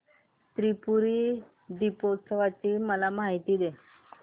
त्रिपुरी दीपोत्सवाची मला माहिती दे